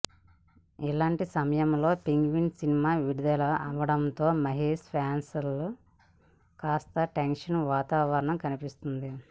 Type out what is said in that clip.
ఇలాంటి సమయంలో Penguin cinema విడుదల అవ్వడంతో మహేష్ ఫ్యాన్స్లో కాస్త టెన్షన్ వాతావరణం కనిపిస్తుంది